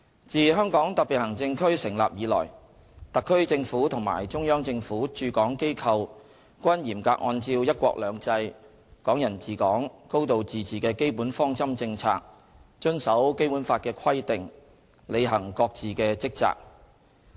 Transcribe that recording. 自香港特別行政區成立以來，特區政府和中央政府駐港機構均嚴格按照"一國兩制"、"港人治港"、"高度自治"的基本方針政策，遵守《基本法》的規定，履行各自的職責。